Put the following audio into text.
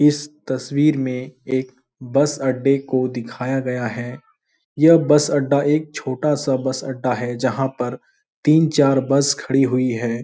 इस तस्वीर में एक बस अड्डे को दिखाया गया है यह बस अड्डा एक छोटा सा बस अड्डा है जहाँ पर तीन चार बस खड़ी हुई है।